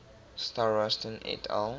starostin et al